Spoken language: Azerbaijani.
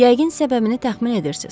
Yəqin səbəbini təxmin edirsiz.